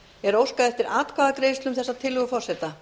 er óskað eftir atkvæðagreiðslu um þetta forseta